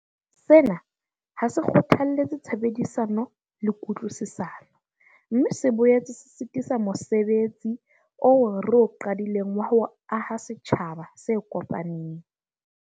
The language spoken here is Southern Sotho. Sena ha se kgothalletse tshebedisano le kutlwisisano, mme se boetse se sitisa mosebetsi oo re o qadileng wa ho aha setjhaba se kopaneng.